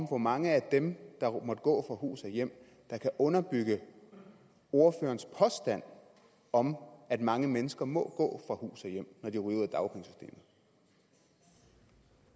hvor mange af dem der måtte gå fra hus og hjem kan underbygge ordførerens påstand om at mange mennesker må gå fra hus og hjem når de